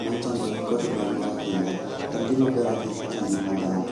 manyiso ni en kod nengo ahinya, en gima ber e ngima dhano